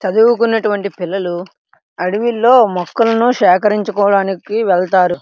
చదువు కుంటున్న వంటి పిల్లలు అడివిలో మొక్కలను సేకరించుకోటాని వెళ్తారు .